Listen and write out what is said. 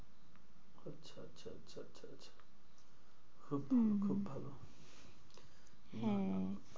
খুব ভালো হম খুব ভালো হ্যাঁ।